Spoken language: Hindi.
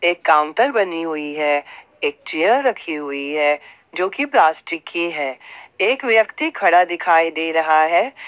एक काउंटर बनी हुई है एक चेयर रखी हुई है जो की प्लास्टिक की है एक व्यक्ति खड़ा दिखाई दे रहा है।